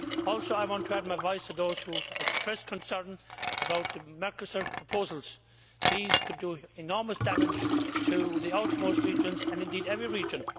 I also want to add my voice to those who expressed concern about the Mercosur proposals. These could do enormous damage to the outermost regions, and indeed every region.